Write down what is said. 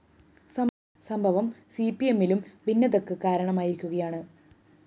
സംഭവം സിപിഎമ്മിലും ഭിന്നതക്ക് കാരണമായിരിക്കുകയാണ്